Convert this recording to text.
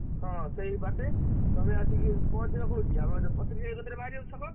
ହଁ ସେଇବାଟେ, ତମେ ଆସିକି ପହଁଞ୍ଚିବ କୋଉଠି ଆମର ଛକ?